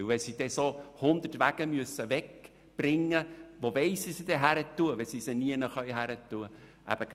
Wenn man diese 100 Wagen wegbringen will, stellt sich die Frage wohin, wenn es keine Möglichkeit dafür gibt.